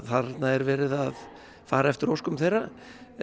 þarna er verið að fara eftir óskum þeirra